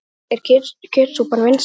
Elísabet: Er kjötsúpan vinsæl?